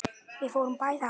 Við fórum bæði að róla.